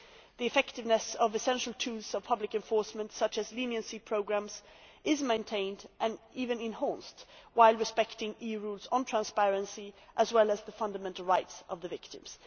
The effectiveness of essential tools of public enforcement, such as leniency programmes, is maintained and even enhanced while respecting EU rules on transparency, as well as the fundamental rights of the victims.